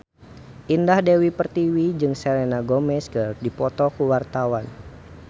Indah Dewi Pertiwi jeung Selena Gomez keur dipoto ku wartawan